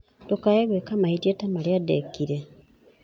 "Ndũkaae gwĩka mahĩtia ta marĩa ndeekire."